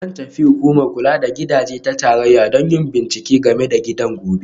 Zan tafi Hukumar Kula da Gidaje ta Tarayya don yin bincike game da gidan gobe